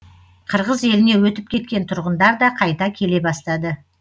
қырғыз еліне өтіп кеткен тұрғындар да қайта келе бастады